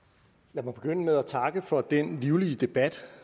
jeg må begynde med at takke for den livlige debat